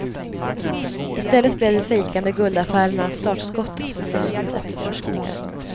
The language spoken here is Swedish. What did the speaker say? I stället blev de fejkade guldaffärerna startskottet för polisens efterforskningar.